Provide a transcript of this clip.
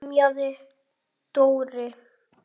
emjaði Dóri.